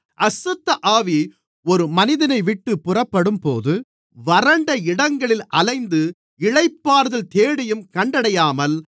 அசுத்தஆவி ஒரு மனிதனைவிட்டுப் புறப்படும்போது வறண்ட இடங்களில் அலைந்து இளைப்பாறுதல் தேடியும் கண்டடையாமல்